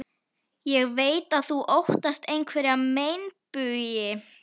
Ég veit að þú óttast einhverja meinbugi.